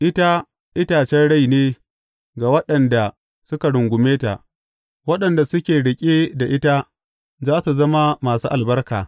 Ita itacen rai ne ga waɗanda suka rungume ta; waɗanda suke riƙe da ta za su zama masu albarka.